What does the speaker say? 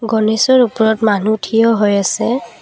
গণেশৰ ওপৰত মানুহ থিয় হৈ আছে।